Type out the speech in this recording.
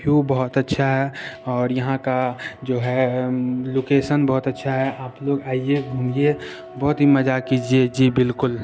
View बहुत अच्छा है और यहा का जो है अम लोकैशन बहुत अच्छा है। आप लोग आइए घूमिए बहुत ही मजा कीजिए जी बिल्कुल।